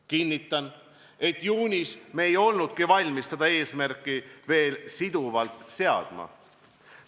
Kinnitan, et juunis me ei olnudki valmis seda eesmärki veel siduvalt seadma.